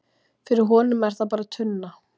Fyrir honum er það bara tunna.